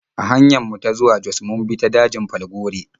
A hanyar mu ta zuwa Jos mun bi ta dajin Falgore.